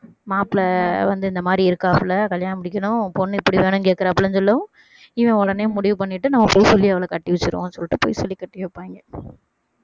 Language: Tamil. மாப்பிளை வந்து இந்த மாதிரி இருக்காப்ல கல்யாணம் முடிக்கணும் பொண்ணு இப்படி வேணும்னு கேட்கிறாப்புலன்னு சொல்லும் இவன் உடனே முடிவு பண்ணிட்டு நம்ம பொய் சொல்லி அவளை கட்டி வச்சிடுவோம்னு சொல்லிட்டு பொய் சொல்லி கட்டி வைப்பாங்க